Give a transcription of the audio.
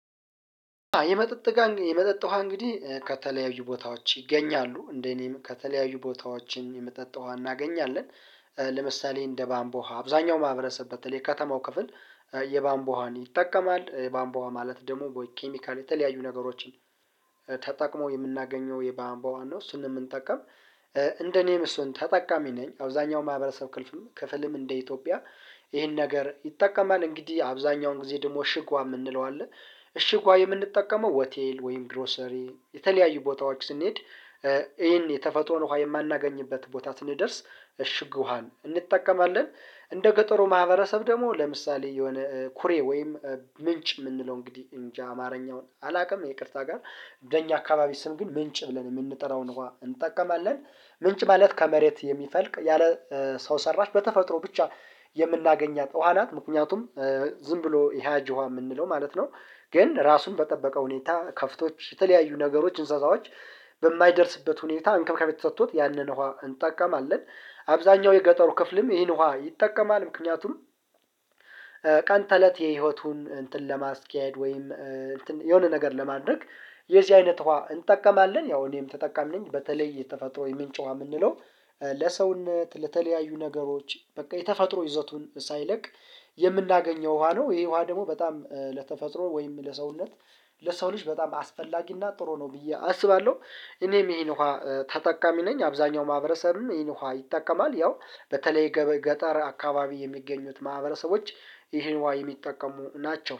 የመጠጥ የመጠጥ ውሃ እንግዲህ ከተለያዩ ቦታዎች ይገኛሉ እንደኔም ከተለያዩ ቦታዎችም የምጠጣው እናገኛለን። ለምሳሌ እንደ ባምቦሃ አብዛኛው ማህበረሰብ በተለይ ከተማው ክፍል። የባምቦሃን ይጠቀማል የባንቧ ማለት ደግሞ ቦይ ኬሚካል የተለያዩ ነገሮችን ተጠቅሞ የምናገኘው የባንባዋ ነው ስንም እንጠቀም። እንደኔም እሱን ተጠቃሚ ነኝ አብዛኛው ማህበረሰብ ክልፍም ክፍልም እንደ ኢትዮጵያ ይሄን ነገር ይጠቀማል እንግዲህ አብዛኛውን ጊዜ ደግሞ ሽጓ የምንለው አለ። እሺግ ውሃ የምንጠቀመው ሆቴል ወይም ግሮሰሪ የተለያዩ ቦታዎች ስንሄድ ይሄን የተፈጥሮን ውሃ የማናገኝበት ቦታ ስንደርስ እሽጉሃን እንጠቀማለን። እንደ ገጠሩ ማህበረሰብ ደግሞ ለምሳሌ የሆነ ኩሬ ወይም ምንጭ የምንለው እንግዲህ እንጃ አማርኛውን አላውቅም ይቅርታ ጋር። በኛ አካባቢ ስም ግን ምንጭ ብለን የምንጠራውን እንጠቀማለን። ምንጭ ማለት ከመሬት የሚፈልቅ ያለ ሰው ሰራሽ በተፈጥሮ ብቻ የምናገኛት ውሃ ናት ምክንያቱም ዝም ብሎ የሃጂዋ የምንለው ማለት ነው። ግን ራሱን በጠበቀ ሁኔታ ከፍቶች የተለያዩ ነገሮች እንስሳዎች በማይደርስበት ሁኔታ እንከብካቤ ተሰጥቶት ያንን እንጠቀማለን። አብዛኛው የገጠሩ ክፍልም ይህን ውሃ ይጠቀማል ምክንያቱም ቀን ተለት የህይወቱን እንትን ለማስኪያድ ወይም የሆነ ነገር ለማድረግ የዚህ አይነት ውሃ እንጠቀማለን። ያው እኔም ተጠቃሚ ነኝ በተለይ የተፈጥሮ የምንጨዋ የምንለው ለሰውነት ለተለያዩ ነገሮች በቃ የተፈጥሮ ይዘቱን ሳይለቅ የምናገኘው ውሃ ነው። ይሄ ውሃ ደግሞ በጣም ለተፈጥሮ ወይም ለሰውነት ለሰው ልጅ በጣም አስፈላጊ እና ጥሩ ነው ብዬ አስባለሁ። እኔም ይሄን ውሃ ተጠቃሚ ነኝ አብዛኛው ማህበረሰብም ይሄን ውሃ ይጠቀማል ያው በተለይ ገጠር አካባቢ የሚገኙት ማህበረሰቦች ይሄን ውሃ የሚጠቀሙ ናቸው